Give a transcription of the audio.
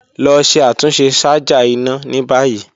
Lọ ṣe atunṣe ṣaja ina ni bayi.